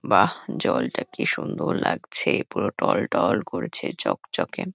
বাহ্! জলটা কি সুন্দর লাগছে! পুরো টলটল করেছে চকচকে।